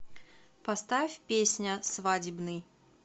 поставь песня свадебный